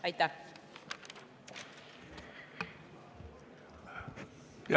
Aitäh!